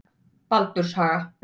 Baldurshaga